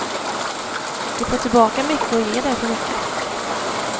Vi får tillbaka mycket och ger därför mycket.